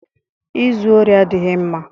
Ịzu ori adịghị mma